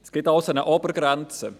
Es gibt also eine Obergrenze.